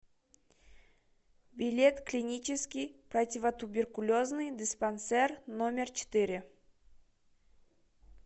билет клинический противотуберкулезный диспансер номер четыре